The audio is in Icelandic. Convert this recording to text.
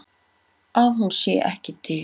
Að hún sé ekki til.